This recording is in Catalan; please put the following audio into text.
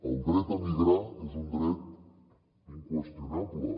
el dret a migrar és un dret inqüestionable